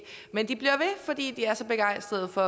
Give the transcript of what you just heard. men de bliver ved fordi de er så begejstrede for